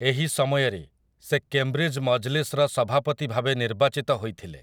ଏହି ସମୟରେ, ସେ କେମ୍‌ବ୍ରିଜ୍ ମଜ୍‌ଲିସ୍‌ର ସଭାପତି ଭାବେ ନିର୍ବାଚିତ ହୋଇଥିଲେ ।